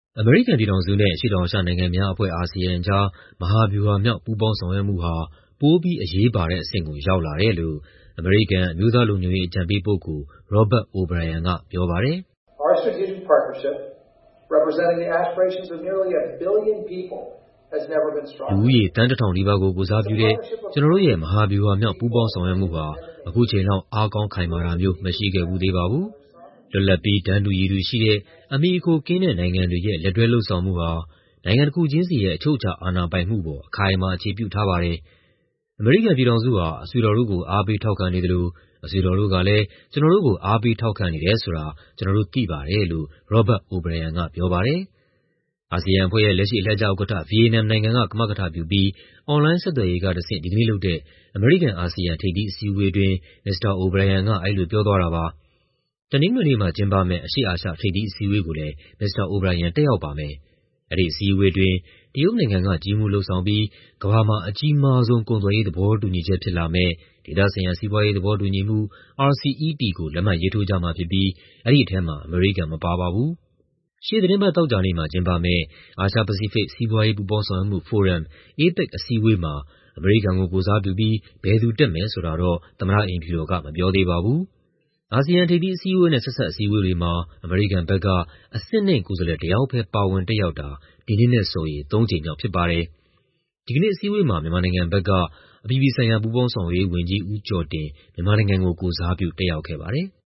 အမေရိကန်ပြည်ထောင်စုနဲ့ အရှေ့တောင်အာရှနိုင်ငံများအဖွဲ့ ကြား မဟာဗျူဟာမြောက် ပူးပေါင်းဆောင်ရွက်မှုဟာ ပိုပြီး အရေးပါတဲ့အဆင့်ကို ရောက်လာတယ်လို့ အမေရိကန် အမျိုးသားလုံခြုံရေး အကြံပေးပုဂ္ဂိုလ် Robert O'Brien က ပြောပါတယ်။ "လူဦးရေ သန်း ၁,၀၀၀ နီးပါးကို ကိုယ်စားပြုတဲ့ ကျနော်တို့ရဲ့ မဟာဗျူဟာမြောက် ပူးပေါင်းဆောင်ရွက်မှုဟာ အခုချိန်လောက် အားကောင်းခိုင်မာတာမျိုး မရှိခဲ့ဖူးသေးပါဘူး။ လွတ်လပ်ပြီး တန်းတူရည်တူရှိတဲ့ အမှီအခိုကင်းတဲ့ နိုင်ငံတွေရဲ့ လက်တွဲလုပ်ဆောင်မှုဟာ နိုင်ငံတခုချင်းစီရဲ့ အချုပ်အခြာ အာဏာပိုင်မှုပေါ် အခိုင်အမာ အခြေပြုထားပါတယ်။ အမေရိကန်ပြည်ထောင်စုဟာ အဆွေတော်တို့ကို အားပေးထောက်ခံနေသလို အဆွေတော်တို့ကလည်း ကျနော်တို့ကို အားပေးထောက်ခံနေတယ်ဆိုတာ ကျနော်တို့သိပါတယ်" လို့ Robert O'Brien က ပြောပါတယ်။ အာဆီယံအဖွဲ့ရဲ့ လက်ရှိ အလှည့်ကျဥက္ကဋ္ဌ ဗီယက်နမ်နိုင်ငံက ကမကထပြုပြီး အွန်လိုင်းဆက်သွယ်ရေးကတဆင့် ဒီကနေ့လုပ်တဲ့ အမေရိကန်-အာဆီယံ ထိပ်သီးအစည်းအဝေးအတွင်း Mr. O'Brien က အဲဒီလိုပြောသွားတာပါ။ တနင်္ဂနွေနေ့မှာ ကျင်းပမယ့် အရှေ့အာရှ ထိပ်သီးအစည်းအဝေးကိုလည်း Mr. O'Brien တက်ရောက်ပါမယ်။ အဲဒီအစည်းအဝေးအတွင်း တရုတ်နိုင်ငံက ကြီးမှူးလုပ်ဆောင်ပြီး ကမ္ဘာမှာ အကြီးမားဆုံး ကုန်သွယ်ရေး သဘောတူညီချက် ဖြစ်လာမယ့် ဒေသဆိုင်ရာ စီးပွားရေးသဘောတူညီမှု ကို လက်မှတ်ရေးထိုးကြမှာဖြစ်ပြီး အဲဒီထဲမှာ အမေရိကန် မပါပါဘူး။ ရှေ့သီတင်းပတ် သောကြာနေ့မှာ ကျင်းပမယ့် အာရှ-ပစိဖိတ် စီးပွားရေး ပူးပေါင်းဆောင်ရွက်မှုဖိုရမ် အစည်းအဝေးမှာ အမေရိကန်ကို ကိုယ်စားပြုပြီး ဘယ်သူတက်မယ်ဆိုတာတော့ သမ္မတအိမ်ဖြူတော်က မပြောသေးပါဘူး။ အာဆီယံ ထိပ်သီးအစည်းအဝေးနဲ့ ဆက်စပ်အစည်းအဝေးတွေမှာ အမေရိကန်ဘက်က အဆင့်နိမ့်ကိုယ်စားလှယ်တယောက်ပဲ ပါဝင်တက်ရောက်တာဟာ ဒီနှစ်နဲ့ဆိုရင် သုံးကြိမ်မြောက် ဖြစ်ပါတယ်။ ဒီကနေ့အစည်းအဝေးမှာ မြန်မာနိုင်ငံဘက်က အပြည်ပြည်ဆိုင်ရာ ပူးပေါင်းဆောင်ရွက်ရေးဝန်ကြီး ဦးကျော်တင် မြန်မာနိုင်ငံကို ကိုယ်စားပြု တက်ရောက်ခဲ့ပါတယ်။